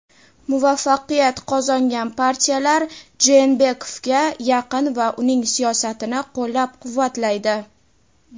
muvaffaqiyat qozongan partiyalar Jeenbekovga yaqin va uning siyosatini qo‘llab-quvvatlaydi.